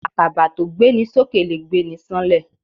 Àkàbà tó gbéni sókè lè gbéni sáńlẹ̀.